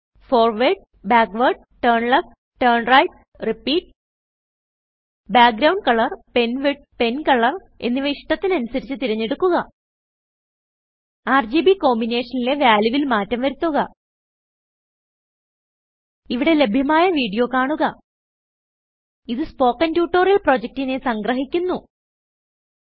forward backward turn left turnrightറിപ്പീറ്റ് background colorpenwidthpencolorഎന്നിവ ഇഷ്ടത്തിനനുസരിച്ചു തിരഞ്ഞെടുക്കുക ആർജിബി കോമ്പിനെഷനിലെ valueൽ മാറ്റം വരുത്തുക ഇവിടെ ലഭ്യമായ വീഡിയോ കാണുക URL httpspoken tutorialorgWhat is a spoken tutorial ഇതു സ്പോകെൻ ട്യൂട്ടോറിയൽ പ്രൊജക്റ്റിനെ സംഗ്രഹിക്കുന്നു